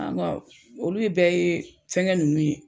An ga olu bɛɛ ye fɛngɛ nunnu ye.